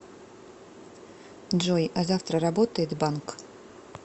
джой а завтра работает банк